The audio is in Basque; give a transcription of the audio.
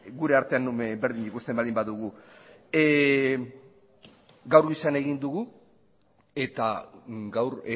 gure artean berdin ikusten baldin badugu gaur goizean egin dugu eta gaur